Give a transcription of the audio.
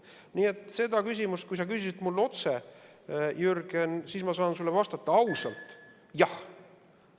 Nii et sellele küsimusele, mis mult otse küsisid, Jürgen, ma saan sulle vastata, ausalt: jah.